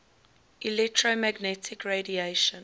electromagnetic radiation